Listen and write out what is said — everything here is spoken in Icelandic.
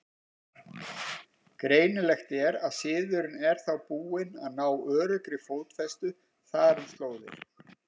Greinilegt er, að siðurinn er þá búinn að ná öruggri fótfestu þar um slóðir.